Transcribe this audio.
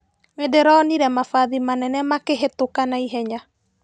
Ndĩronire mabathi manene makĩhĩtũka na ihenya.